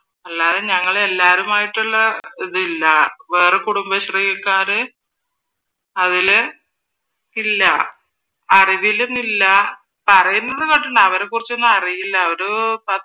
അല്ലാതെ ഞങ്ങൾ എല്ലാവരുമായിട്ടുള്ള ഇതില്ലാ വേറെ കുടുംബശ്രീക്കാർ അതിൽ ഇല്ല അറിവിലും ഇല്ല പറയുന്നത് കേട്ടിട്ടുണ്ട് അവരെക്കുറിച്ച് ഒന്നുമറിയില്ല ഒരു